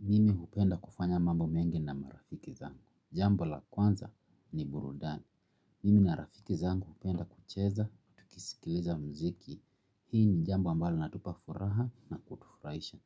Mimi hupenda kufanya mambo mengi na marafiki zangu Jambo la kwanza ni burudani. Mimi na rafiki zangu hupenda kucheza tukisikiliza muziki hii ni jambo ambalo linatupa furaha na kutufurahisha